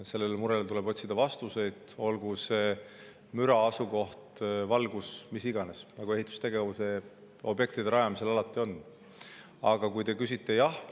Sellele murele, olgu see müra, asukoht, valgus, mis iganes, nagu ehitusobjektide rajamisel alati on, tuleb otsida.